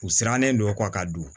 U sirannen don u kɔ ka don